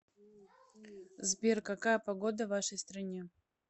сбер какая погода в вашей стране